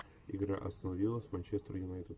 игра астон вилла с манчестер юнайтед